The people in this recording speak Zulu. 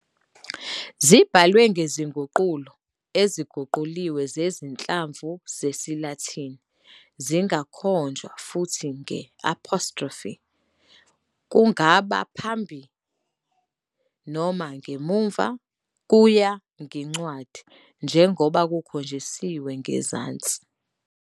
Zibhalwe ngezinguqulo eziguquliwe zezinhlamvu zesiLatini. Zingakhonjwa futhi nge- apostrophe, kungaba ngaphambi noma ngemuva kuye ngencwadi, njengoba kukhonjisiwe ngezansi.